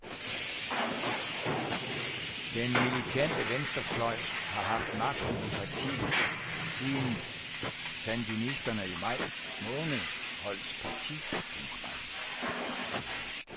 Den militante venstrefløj har haft magten i partiet siden sandinisterne i maj måned holdt partikongres.